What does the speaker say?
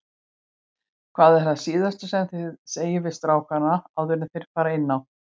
Hvað er það síðasta sem þið segið við strákana áður enn þeir fara inn á?